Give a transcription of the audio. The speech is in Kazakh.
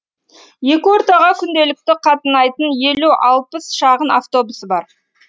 екі ортаға күнделікті қатынайтын елу алпыс шағын автобусы бар